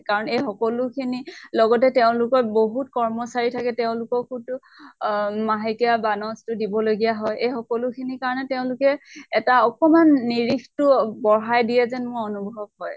কাৰণ এই সকলোখিনি, লগতে তেওঁলোকৰ বহুত কৰ্মচাৰী থাকে, তেওঁককো তো অ মাহেকীয়া বান্ছ তো দিবলগীয়া হয়, এই সকলো খিনি কাৰণে তেওঁলোকে এটা অকনমান নিৰিখ তো বঢ়াই দিয়ে যেন মোৰ অনুভৱ হয় ।